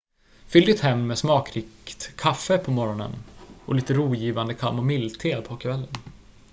fyll ditt hem med smakrikt kaffe på morgonen och lite rogivande kamomillte på kvällen